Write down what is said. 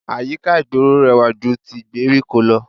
Àyíká ìgboro rẹwà ju ti gbèríko lọ